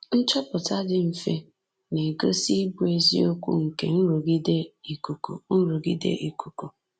Nchọpụta dị mfe na-egosi ịbụ eziokwu nke nrụgide ikuku nrụgide ikuku.